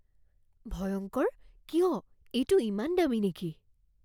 ভয়ংকৰ? কিয়? এইটো ইমান দামী নেকি?